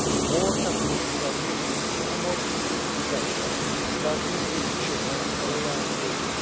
More efforts are needed to promote interest in culture, starting with children at a young age.